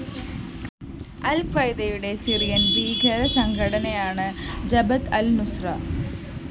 അല്‍ഖ്വയ്ദയുടെ Syrian‍ ഭീകരസംഘടനയാണ് Jabhat al‍ Nusra